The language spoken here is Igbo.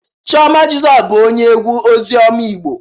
Chioma Jesus bu onye egwu ozioma Igbo